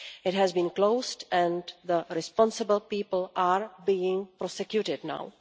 It has been closed and the responsible people are being prosecuted now.